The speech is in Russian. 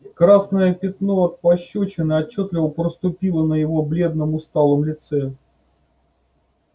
красное пятно от пощёчины отчётливо проступило на его бледном усталом лице